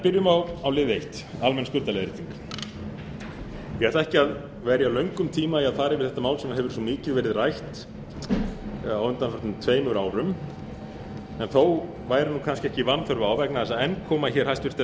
byrjum á lið eins almenn skuldaleiðrétting ég ætla ekki að verja löngum tíma í að fara yfir þetta mál sem hefur svo mikið verið rætt á undanförnum tveimur árum en þó væri kannski ekki vanþörf á vegna þess að enn koma hæstvirtir